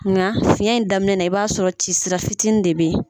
Nka fiyɛn in daminɛ na i b'a sɔrɔ cisira fitinin de bɛ ye.